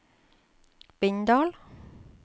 Bindal